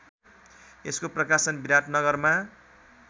यसको प्रकाशन विराटनगरमा